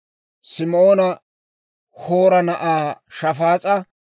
Simoona Hoora na'aa Shafaas'a;